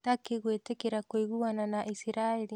Turkey gwĩtĩkĩra kũiguana na Isiraeli.